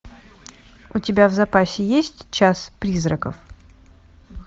у тебя в запасе есть час призраков